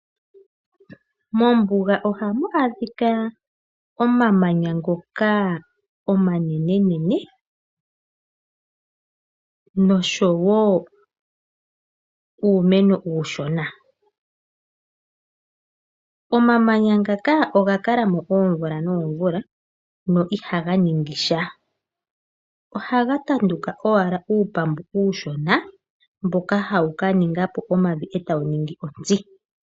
Mombuga ohamu adhika omamanya ngoka omanenene nosho wo uumeno uushona. Omamanya ngaka oga kala mo oomvula noomvula no ihaga ningi sha. Ohaga tanduka owala uupambu uushona mboka hawu ka ninga po omavi e tawu ningi ontsi.